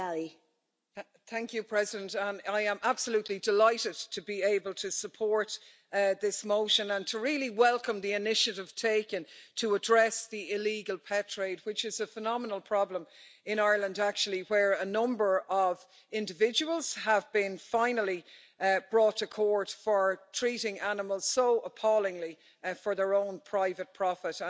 Madam President, I am absolutely delighted to be able to support this motion and to really welcome the initiative taken to address the illegal pet trade, which is a phenomenal problem in Ireland, actually, where a number of individuals have been finally brought to court for treating animals so appallingly and for their own private profit.